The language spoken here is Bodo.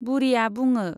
बुरिया बुङो।